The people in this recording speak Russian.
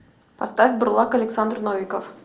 поставь бурлак александр новиков